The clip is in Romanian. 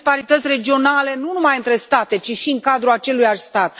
Avem disparități regionale nu numai între state, ci și în cadrul aceluiași stat.